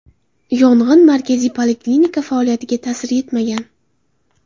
Yong‘in markaziy poliklinika faoliyatiga ta’sir etmagan.